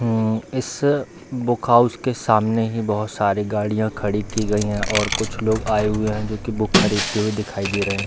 मम इस book house के सामने ही बहुत साड़ी गाड़िया खड़ी की गई हैं और कुछ लोग आये हुए हैं जो की बुक खरीदते हुए दिखाई दे रहें।